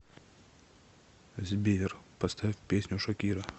сбер поставь песню шакира